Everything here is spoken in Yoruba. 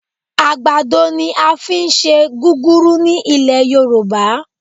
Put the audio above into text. Àgbàdo ni a fi ń ṣe gúrúrú ní ilẹ̀ Yorùbá